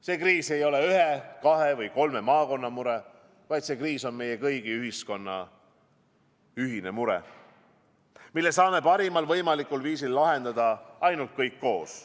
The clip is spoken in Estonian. See kriis ei ole ühe, kahe või kolme maakonna mure, vaid see kriis on meie kõigi, ühiskonna ühine mure, mille saame parimal võimalikul viisil lahendada ainult kõik koos.